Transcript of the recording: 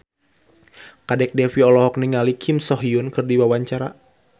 Kadek Devi olohok ningali Kim So Hyun keur diwawancara